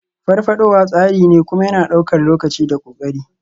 Farfadowa tsari ne, kuma yana ɗaukar lokaci da ƙoƙari.